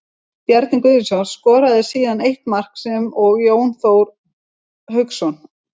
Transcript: Bjarni Guðjónsson skoraði síðan eitt mark sem og Jón Þór Hauksson.